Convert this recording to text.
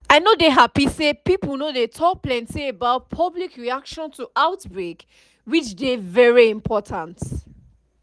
i no dey happy say pipo no dey talk plenty about public reaction to outbreak which dey very important